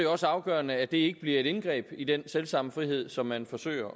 også afgørende at det ikke bliver et indgreb i den selv samme frihed som man forsøger